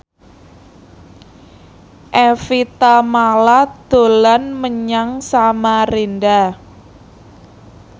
Evie Tamala dolan menyang Samarinda